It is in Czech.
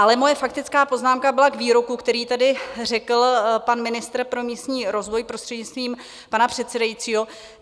Ale moje faktická poznámka byla k výroku, který tady řekl pan ministr pro místní rozvoj, prostřednictvím pana předsedajícího.